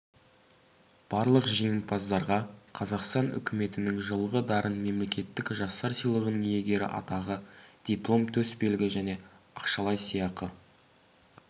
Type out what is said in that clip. барлық жеңімпаздарға қазақстан үкіметінің жылғы дарын мемлекеттік жастар сыйлығының иегері атағы диплом төсбелгі және ақшалай сыйақы